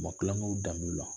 Ma kulon k'u danbew la